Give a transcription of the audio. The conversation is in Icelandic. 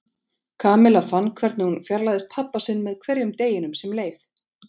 Kamilla fann hvernig hún fjarlægðist pabba sinn með hverjum deginum sem leið.